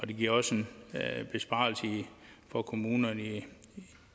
det giver også en besparelse for kommunerne i